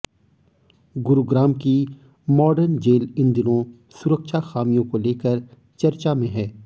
गुरुग्राम की modern jail इन दिनों सुरक्षा खामियों को लेकर चर्चा में है